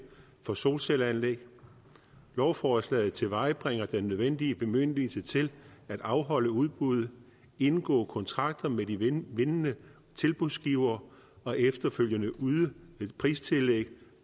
for solcelleanlæg lovforslaget tilvejebringer den nødvendige bemyndigelse til at afholde udbuddet indgå kontrakter med de vindende tilbudsgivere og efterfølgende yde et pristillæg